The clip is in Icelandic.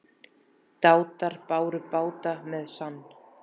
Dátar báru bát með sann.